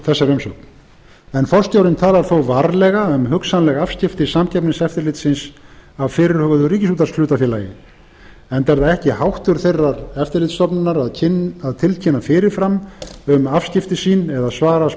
þessari umsögn forstjórinn talar þó varlega um hugsanleg afskipti samkeppniseftirlitsins af fyrirhuguðu ríkisútvarpshlutafélagi enda er það ekki háttur þeirrar eftirlitsstofnunar að tilkynna fyrir fram um afskipti sín eða svara